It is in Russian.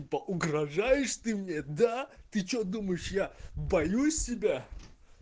угрожаешь ты мне да ты что думаешь я боюсь тебя